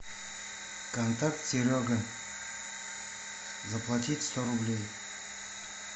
контакт серега заплатить сто рублей